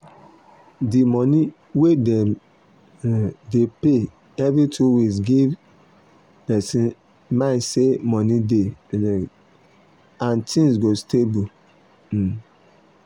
d money wey dem um dey pay every two weeks give um person mind say money dey and things go stable um